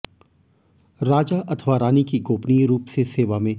राजा अथवा रानी की गोपनीय रूप से सेवा में